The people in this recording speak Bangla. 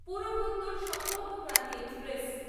পুরভোত্তর সম্পর্কক্রান্তি এক্সপ্রেস